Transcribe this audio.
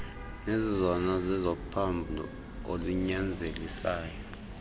nezizezona zizezophambo olunyanzelisayo